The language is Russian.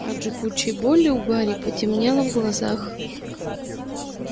от жгучей боли у гарри потемнело в глазах